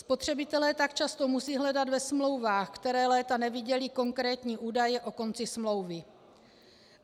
Spotřebitelé tak často musí hledat ve smlouvách, které léta neviděli, konkrétní údaje o konci smlouvy.